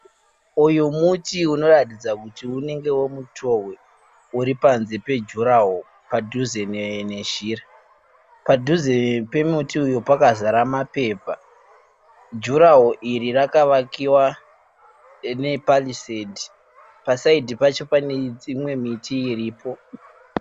Uyu muti unoratidza kuti unenge weMutohwe uri panze pejuraho padhuze nezhira. Padhuze pemuti uyu pakazara mapepa. Juraho iri rakavakiwa nepariseti, pasaidhi pacho pane dzimwe miti iripo.